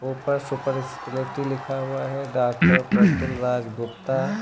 ऊपर super speciality लिखा हुआ है डॉक्टर प्रतुल राज गुप्ता।